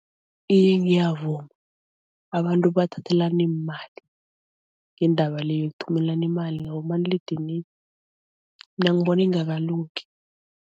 Iye ngiyavuma. Abantu bathathelana iimali ngendaba le yokuthumelana imali ngabomaliledinini, mina ngibona ingakalungi.